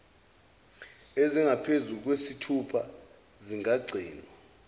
ezingaphezulu kwesithupha zingagcinwa